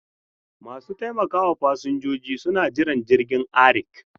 Masu taimakawa fasinjojin suna Jiran jirgin ARIK.